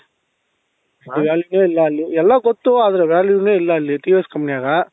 value ಇಲ್ಲ ಅಲ್ಲಿ ಎಲ್ಲ ಗೊತ್ತು ಆದ್ರೆ value ನೆ ಇಲ್ಲ ಅಲ್ಲಿ TVS company ನಾಗ